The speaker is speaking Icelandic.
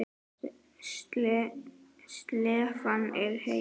Slefan er heit.